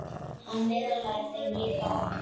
Hann miðlaði þeim líka áfram.